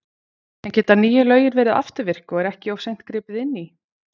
En geta nýju lögin verið afturvirk og er ekki of seint gripið inn í?